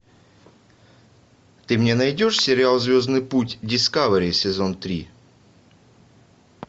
ты мне найдешь сериал звездный путь дискавери сезон три